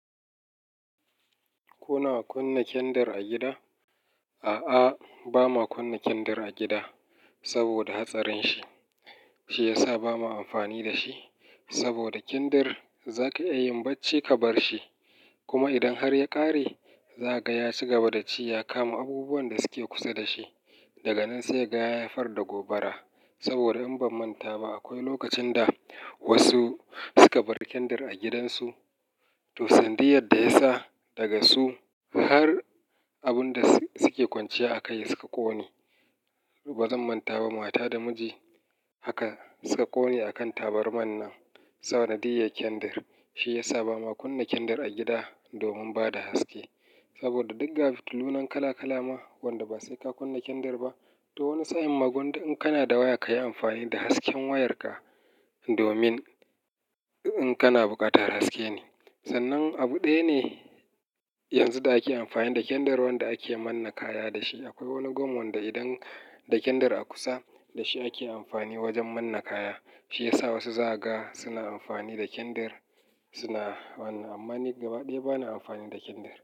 Kuna kunna kyandir a gida? A'a, ba ma kunna kindir a gida saboda hatsarin shi. Shi ya sa ba ma amfani da shi, saboda kyandir za ka iya yi bacci ka bar shi. Kuma idan har ya ƙare, za ka ga ya cigaba da ci ya kama abubuwan da suke kusar da shi. Daga nan sai ka ga ya haifar da gobara. Saboda idan ban manta ba, akwai lokacin da wasu suka bar kyandir a gidansu, to sanadiyar da ya sa daga su har abun da suke kwanciya a kai suka ƙone. Ba zan manta ba, mata da miji haka suka ƙone a kan tabarmar nan sanadiyar kyandir. Shi ya sa bamuwa kunna kyandir a gida domin bada haske. Saboda duk ga fitilu nan kala kala ma. Wanda ba sai ka kunna kindir ba. To wani sa'in ma gara idan kana da waya, ka yi amfani da hasken wayarka domin in kana buƙatar haske ne. Sannan abu ɗaya ne yanzu da ake amfani da kyandir wanda ake manne kaya da shi. Akwai wani gwam wanda idan da kyandir a kusa, da shi nake amfani wajen manna kaya. Shi ya sa wasu za ka ga suna amfani da kyandir, suna wannan. Amma ni gaba ɗaya bana amfani da kindir.